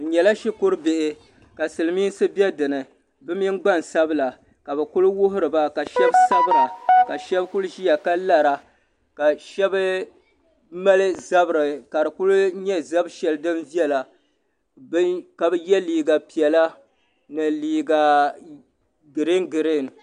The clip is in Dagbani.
Bɛ nyɛla shukuru bihi ka Silimiinsi be dinni bɛ mini gbansabla ka bɛ kuli wuhiri ba ka sheba sabira ka sheba kuli ʒia ka lara ka sheba mali zabiri ka fi kuli nyɛ zab'sheli din viɛla ka ye liiga piɛla ni liiga girin girin.